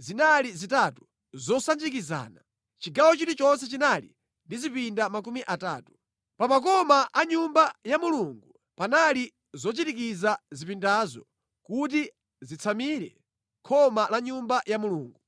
zinali zitatu zosanjikizana. Chigawo chilichonse chinali ndi zipinda makumi atatu. Pa makoma a Nyumba ya Mulungu panali zochirikiza zipindazo kuti zisatsamire khoma la Nyumba ya Mulungu.